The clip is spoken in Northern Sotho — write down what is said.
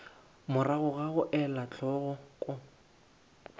morago ga go ela hloko